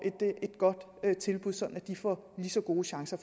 et godt tilbud sådan at de får lige så gode chancer